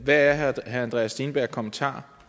er herre andreas steenbergs kommentar